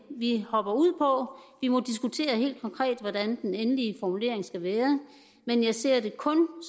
vi hopper ud på vi må diskutere helt konkret hvordan den endelige formulering skal være men jeg ser det kun